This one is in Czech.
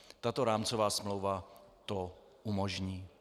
Tato rámcová smlouva to umožní.